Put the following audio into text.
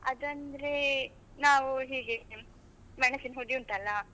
ಅದಂದ್ರೆ, ನಾವು ಹೀಗೆ ಮೆಣಸಿನ್ ಹುಡಿ ಉಂಟಲ್ಲ.